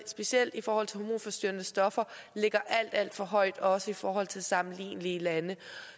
specielt i forhold til hormonforstyrrende stoffer ligger alt alt for højt også i forhold til sammenlignelige lande